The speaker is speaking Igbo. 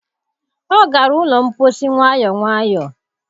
Ọ gara ụlọ mposi nwayọ nwayọ.